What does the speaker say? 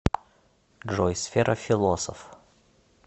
джой сфера философ